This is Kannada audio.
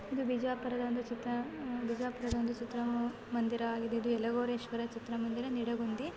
ಇದು ಬಿಜಾಪುರದ ಒಂದು ಚಿತ್ರ ಇದು ಬಿಜಾಪುರದ ಒಂದು ಚಿತ್ರಮಂದಿರವಾಗಿದೆ ಇದು ಯಲಗೋಸ್ವರ ಚಿತ್ರಮಂದಿರ ನೆರಗುಂದಿ.